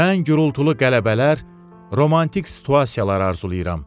Mən gurultulu qələbələr, romantik situasiyalar arzulayıram.